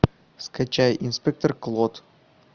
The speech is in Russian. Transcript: скачай инспектор клод